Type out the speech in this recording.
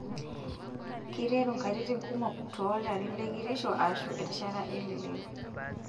Keiteru nkatitin kumok toolarin lekitisho aashu erishata elelero.